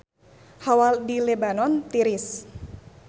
Hawa di Lebanon tiris